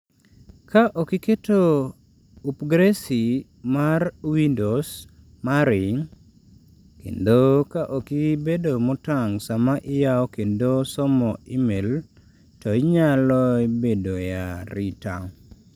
Ka ok iketo upgrasi mar Windows mari, kendo ka ok ibedo motang' sama iyawo kendo somo e-mail, to inyaloa bedo e arita.